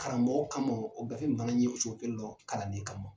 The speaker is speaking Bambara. Karamɔgɔ kamɔ o gafe in fana ye cogo kelen lɔ kalanden kamɔ.